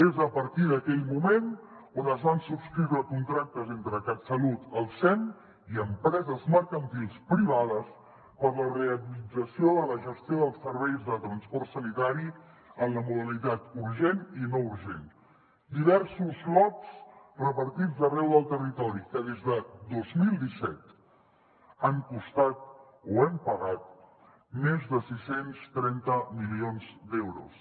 és a partir d’aquell moment on es van subscriure contractes entre catsalut el sem i empreses mercantils privades per la realització de la gestió dels serveis de transport sanitari en la modalitat urgent i no urgent diversos lots repartits arreu del territori que des de dos mil disset han costat o hem pagat més de sis cents i trenta milions d’euros